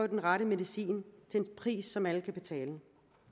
den rette medicin til en pris som alle kan betale